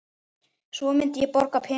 Svo myndi ég borga peninga